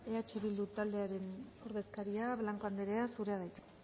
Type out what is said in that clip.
eh bildu taldearen ordezkaria blanco anderea zurea da hitza